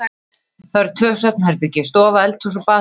Það voru tvö svefnherbergi, stofa, eldhús og baðherbergi.